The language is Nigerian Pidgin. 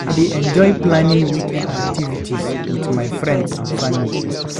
I dey enjoy planning weekend activities with my friends and family.